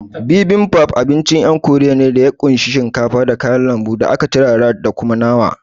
Bibimbap abincin ƴan korea ne, ya kunshi shinkafa, da kayan lambu da aka turara da kuma nama